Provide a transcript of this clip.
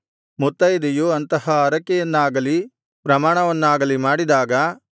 ಮುತ್ತೈದೆಯು ಅಂತಹ ಹರಕೆಯನ್ನಾಗಲಿ ಪ್ರಮಾಣವನ್ನಾಗಲಿ ಮಾಡಿದಾಗ